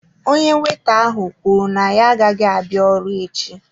Onye weta ahụ kwuru na ya agaghị abịa ọrụ echi.